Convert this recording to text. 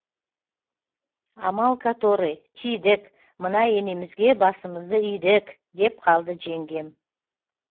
амал который тидік мына енемізге басымызды идік деп қалды жеңгем